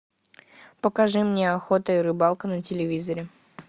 покажи мне охота и рыбалка на телевизоре